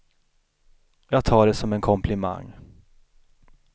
Jag tar det som en komplimang.